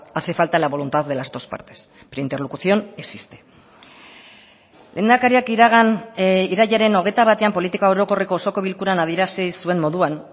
hace falta la voluntad de las dos partes pero interlocución existe lehendakariak iragan irailaren hogeita batean politika orokorreko osoko bilkuran adierazi zuen moduan